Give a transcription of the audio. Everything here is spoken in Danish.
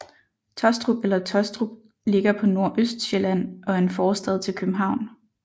Taastrup eller Tåstrup ligger på Nordøstsjælland og er en forstad til København